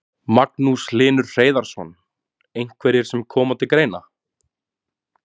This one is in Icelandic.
Magnús Hlynur Hreiðarsson: Einhverjir sem koma til greina?